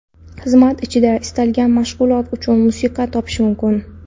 Xizmat ichida istalgan mashg‘ulot uchun musiqa topish mumkin.